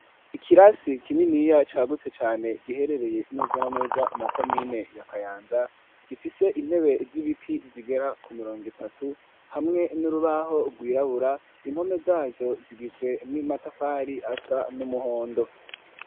Ikirasi kininiya cagutse cane giherereye neza na neza mu komine ya kayanza gifise intebe z'ibiti zigera ku mirongo itatu hamwe n'urubaho rwirabura impome zazo zigizwe n'imatafari asa n'umuhondo.